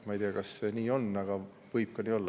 Ma ei tea, kas see nii on, aga võib ka nii olla.